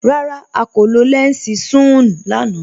Rárá, à kò lọ lẹnsí sún-un lànà.